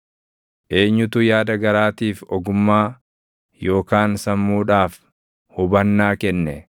Eenyutu yaada garaatiif ogummaa yookaan sammuudhaaf hubannaa kenne?